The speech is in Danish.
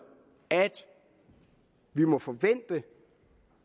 at vi må forvente